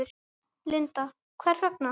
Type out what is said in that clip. Linda: Hvers vegna?